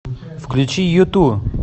включи юту